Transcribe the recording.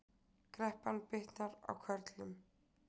Kreppan bitnar á körlum